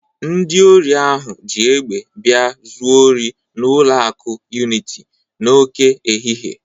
Ndị ori ahụ ji egbe bia zuo ori n'ụlọ akụ Uniti n'oke ehihie.